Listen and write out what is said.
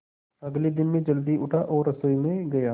अगले दिन मैं जल्दी उठा और रसोई में गया